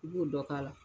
I b'o dɔ k'a la